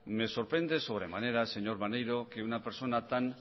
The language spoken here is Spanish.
me sorprende sobremanera señor maneiro que una persona tan